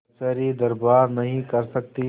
कचहरीदरबार नहीं कर सकती